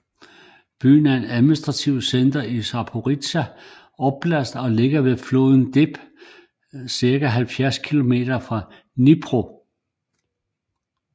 Byen er administrativt center i Zaporizjzja oblast og ligger ved floden Dnepr cirka 70 kilometer fra Dnipro